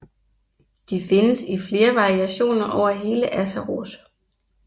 De findes i flere variationer over hele Azeroth